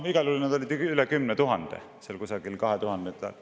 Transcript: Igal juhul need olid seal kusagil üle 10 000 …